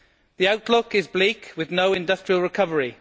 The outlook is bleak, with no industrial recovery.